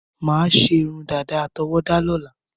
Mo máà ṣe irun dada àtọwọda lóla